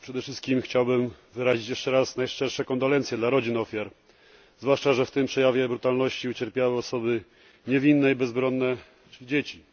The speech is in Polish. Przede wszystkim chciałbym wyrazić jeszcze raz najszczersze kondolencje dla rodzin ofiar, zwłaszcza że w tym przejawie brutalności ucierpiały osoby niewinne i bezbronne, czyli dzieci.